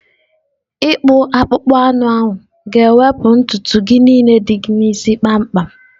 ịkpụ akpụkpọ anụ ahu na-ewepụ ntutu gị niile dị n'isi gị kpamkpam.